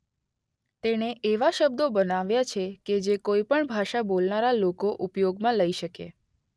તેણે એવા શબ્દો બનાવ્યા છે કે જે કોઇ પણ ભાષા બોલનારા લોકો ઉપયોગમાં લઇ શકે.